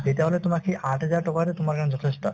তেতিয়াহলে তোমাৰ সেই আঠ হাজাৰ টকাতো তোমাৰ কাৰণে যথেষ্ট